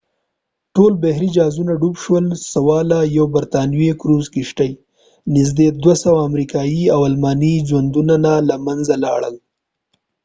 ټول بحري جازونه ډوب شول سوا له یوه برطانوي کروزر کشتۍ نږدې 200 امریکايي او الماني ژوندونونه له منځه لاړل